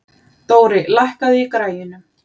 Dóri, lækkaðu í græjunum.